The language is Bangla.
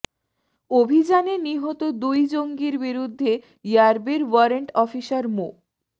অভিযানে নিহত দুই জঙ্গির বিরুদ্ধে র্যাবের ওয়ারেন্ট অফিসার মো